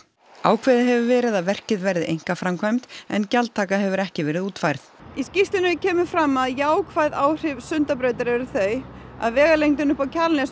ákveðið hefur verið að verkið verði einkaframkvæmd en gjaldtaka hefur ekki verið útfærð í skýrslunni kemur fram að jákvæð áhrif Sundabrautar eru þau að vegalendin upp á Kjalarnes